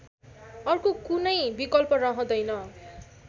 अर्को कुनै विकल्प रहँदैन